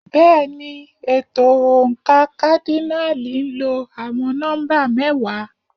Bẹ́ẹ̀ni, ètò oǹkà kádínààlì ń lo àwọn nọ́mbà mẹ́wàá.